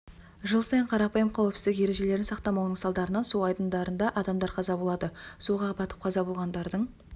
жыл сайын қарапайым қауіпсіздік ережелерін сақтамауының салдарынан су айдындарында адамдар қаза болады суға батып қаза болғандардың